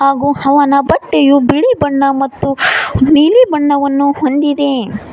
ಹಾಗು ಅವನ ಬಟ್ಟೆಯು ಬಿಳಿ ಬಣ್ಣ ಮತ್ತು ನೀಲಿ ಬಣ್ಣವನ್ನು ಹೊಂದಿದೆ.